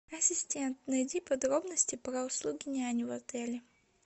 ассистент найди подробности про услуги няни в отеле